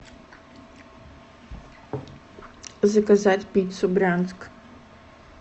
заказать пиццу брянск